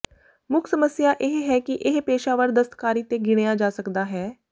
ਮੁੱਖ ਸਮੱਸਿਆ ਇਹ ਹੈ ਕਿ ਇਹ ਪੇਸ਼ਾਵਰ ਦਸਤਕਾਰੀ ਤੇ ਗਿਣਿਆ ਜਾ ਸਕਦਾ ਹੈ